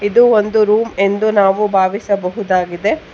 ಇದು ಒಂದು ರೂಮ್ ಎಂದು ನಾವು ಭಾವಿಸಬಹುದಾಗಿದೆ.